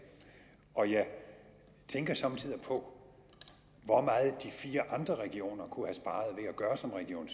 og jeg tænker somme tider på hvor meget de fire andre regioner kunne at gøre som region